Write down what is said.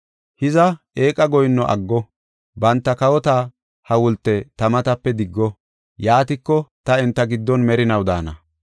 Hiza eeqa goyinno aggo; banta kawota hawulte ta matape diggo. Yaatiko, ta enta giddon merinaw daana.”